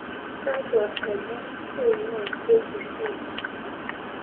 kakwa omon oingwaa k. b.c